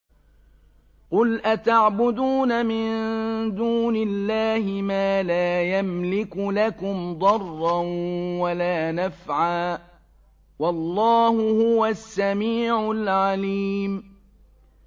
قُلْ أَتَعْبُدُونَ مِن دُونِ اللَّهِ مَا لَا يَمْلِكُ لَكُمْ ضَرًّا وَلَا نَفْعًا ۚ وَاللَّهُ هُوَ السَّمِيعُ الْعَلِيمُ